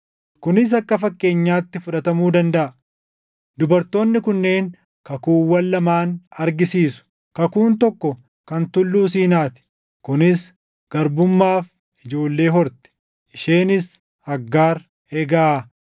Kunis akka fakkeenyaatti fudhatamuu dandaʼa; dubartoonni kunneen kakuuwwan lamaan argisiisu. Kakuun tokko kan Tulluu Siinaa ti; kunis garbummaaf ijoollee horti; isheenis Aggaar.